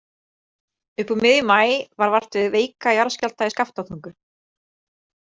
Upp úr miðjum maí varð vart við veika jarðskjálfta í Skaftártungu.